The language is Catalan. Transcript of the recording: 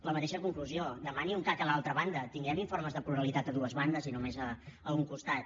la mateixa conclusió demani un cac a l’altra banda tinguem informes de pluralitat a dues bandes i no només a un costat